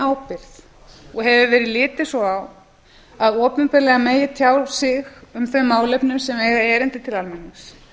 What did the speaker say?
ábyrgð og hefur verið litið svo á að opinberlega megi tjá sig um þau málefni sem eigi erindi til almennings